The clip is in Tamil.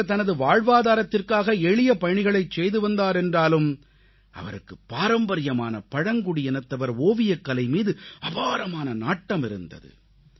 அவர் தனது வாழ்வாதாரத்திற்காக எளிய பணிகளைச் செய்து வந்தாரென்றாலும் அவருக்கு பாரம்பரியமான பழங்குடியினத்தவர் ஓவியக்கலை மீது அபாரமான நாட்டம் இருந்தது